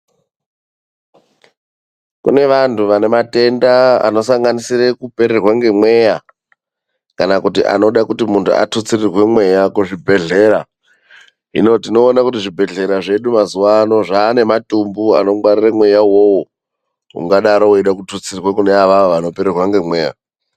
Kune vantu vane matenda anosanganise kupererwa ngemweya kana kuti anoda kuti muntu atutsirwe mweya kuzvibhedhlera. Hino tinoona kuti zvibhedhlera zvedu mazuva ano zvane matumbu anongwarira mweya iwoyo ungadaro weida kututsirwa kune avava vanopererwa ngemweya.